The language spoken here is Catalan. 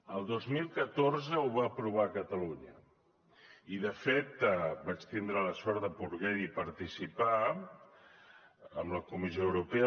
el dos mil catorze ho va aprovar catalunya i de fet vaig tindre la sort de poder hi participar en la comissió europea